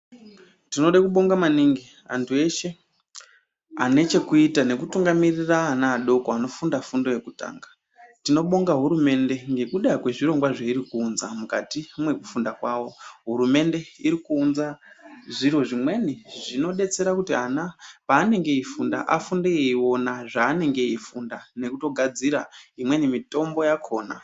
Tinode kubonga maningi antu eshe anechekuita nekutungamirira ana adoko anofunda fundo yekutanga , tinobonga hurumende nekuda kwezvirongwa zvairi kuunza mukati mwekufunda kwawo. Hurumende irikuunza zviro zvimweni zvinodetsera kuti ana paanenge eifunda afunde eiona zvaanenge eifunda nekutogadzira imweni mitombo yakona.